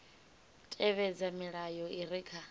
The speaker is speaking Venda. tevhedza milayo i re kha